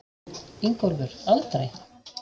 Ingólfur: Aldrei?